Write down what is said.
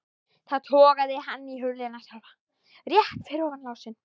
Þá togaði hann í hurðina sjálfa, rétt fyrir ofan lásinn.